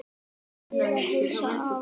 Bið að heilsa afa.